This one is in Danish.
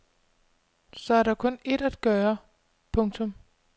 Så er der kun ét at gøre. punktum